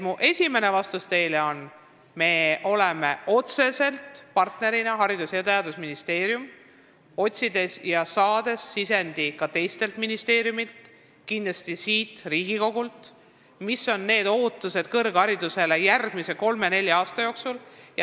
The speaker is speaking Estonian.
Mu esimene vastus teile on see, et me ootame Haridus- ja Teadusministeeriumi ning ka teiste ministeeriumidega kindlasti siit, Riigikogust ettepanekuid, millised on ootused kõrgharidusele järgmise kolme-nelja aasta jooksul.